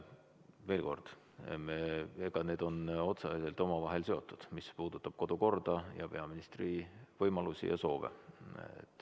Veel kord: need on otseselt omavahel seotud, mis puudutab kodukorda ja peaministri võimalusi ja soove.